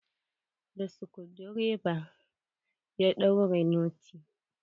Da skudireva ya daure notin.